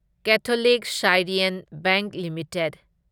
Catholic Syrian Bank limited